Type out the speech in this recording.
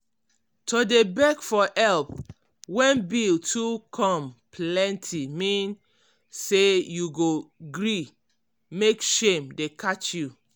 to dey beg for help when bill too come plenty mean say you go gree mek shame dey catch you.